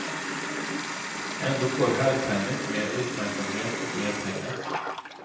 Ändå får herrtennis mer uppmärksamhet och mer pengar.